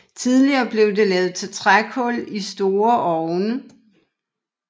Tidligere blev det lavet til trækul i store ovne